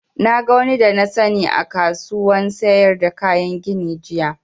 Na ga wani da na sani a kasuwan sayar da kayan gini jiya